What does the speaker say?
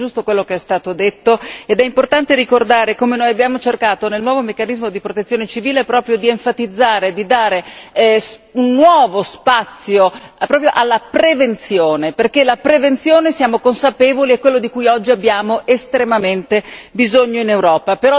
È tutto giusto quello che è stato detto, ed è importante ricordare come noi abbiamo cercato nel nuovo meccanismo di protezione civile proprio di enfatizzare e di dare un nuovo spazio proprio alla prevenzione, perché la prevenzione siamo consapevoli è quello di cui oggi abbiamo estremamente bisogno in Europa.